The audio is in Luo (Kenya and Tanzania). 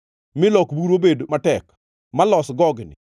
milok buru bed matek malos gogni?